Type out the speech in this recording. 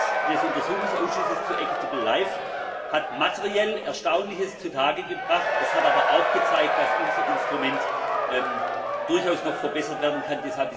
Die Arbeit des Untersuchungsausschusses zur Krise der hat materiell Erstaunliches zu Tage gebracht, es hat sich aber auch gezeigt, dass unser Instrument durchaus noch verbessert werden kann.